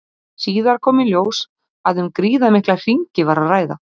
Síðar kom í ljós að um gríðarmikla hringi var að ræða.